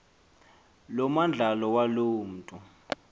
lomandlalo waloo mntu